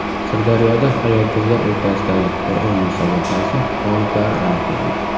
Sirdaryoda ayol-qizlar o‘rtasidagi Qur’on musobaqasi g‘oliblari aniqlandi.